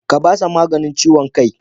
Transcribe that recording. Ka ba shi maganin ciwon kai.